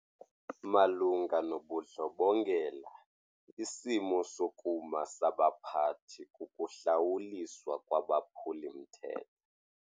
Malunga nobundlobongela isimo sokuma sabaphathi kukuhlawuliswa kwabaphuli-mthetho.